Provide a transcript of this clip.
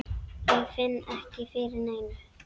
Ég finn ekki fyrir neinu.